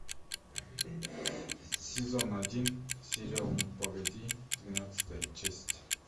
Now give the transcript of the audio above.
сезон один сериал ну погоди двенадцатая часть